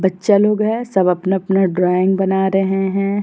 बच्चा लोग हैं। सब अपना अपना ड्राइंग बना रहे हैं।